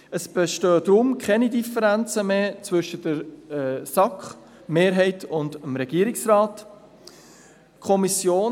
Es bestehen deshalb zwischen der SAK-Mehrheit und dem Regierungsrat keine Differenzen mehr.